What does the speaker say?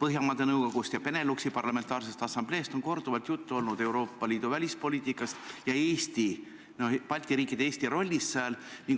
Põhjamaade Nõukogust ja Beneluxi parlamentaarsest assambleest on korduvalt olnud juttu Euroopa Liidu välispoliitikast ja Balti riikide rollist selles.